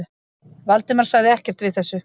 Valdimar sagði ekkert við þessu.